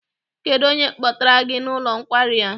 Kedụ onye kpọtara gị n'ụlọ nkwari a?